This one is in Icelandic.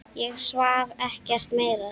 Ég svaf ekkert meira.